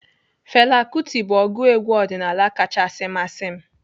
Fela Kuti bụ ọgụ egwu ọdịnaala kachasi masị m.